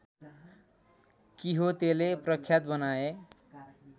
किहोतेले प्रख्यात बनाए